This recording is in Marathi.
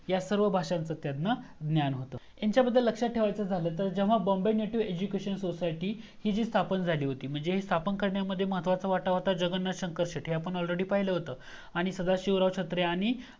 ह्या सर्व भाषांच त्यांना ज्ञान होतं ह्यांच्याबद्दल लक्षात ठेवायचा झाल तर जेव्हा Bombay Native Education Society ही जी स्थापन झाली होती म्हणजे हे स्थापन करण्यामध्ये महत्वाचा वाटा होता जगन्नाथ शंकर शेटे हे आपण already पहिलं होतं सदाशिव छत्रे